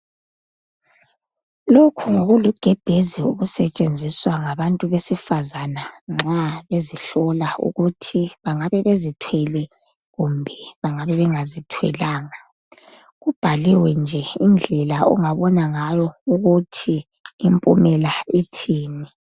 Lokhu ngokulugebhezi okusetshenziswa ngabantu besifazana nxa bezihlola ukuthi bengabe bezithwele kumbe bengabe bengazithwalanga kubhaliwe nje indlela ongabona ngayo ukuthi impumela ithini